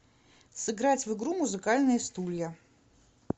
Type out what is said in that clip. сыграть в игру музыкальные стулья